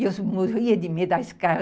E eu morria de medo da escada...